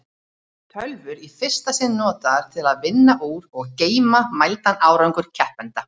Tölvur í fyrsta sinn notaðar til að vinna úr og geyma mældan árangur keppenda.